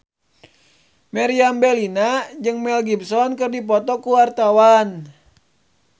Meriam Bellina jeung Mel Gibson keur dipoto ku wartawan